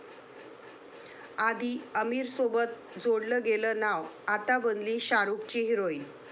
आधी आमिरसोबत जोडलं गेलं नाव, आता बनली शाहरुखची हिराॅइन